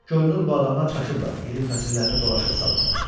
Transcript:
Görünür bu adamlar çaşıblar, ilin fəsillərini dolaşıq salıblar.